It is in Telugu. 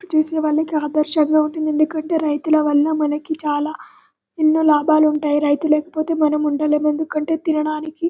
చేసే వాళ్లకు ఆదర్శనంగా ఉంటుంది ఎందుకంటే రైతుల వాళ్ళ మనకి చాల ఎన్నో లాభాలు ఉంటాయి రైతు లేకపోతే మనము ఉండలేము ఎందుకంటే తినడానికి --